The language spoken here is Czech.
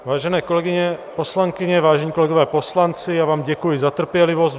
Vážené kolegyně poslankyně, vážení kolegové poslanci, já vám děkuji za trpělivost.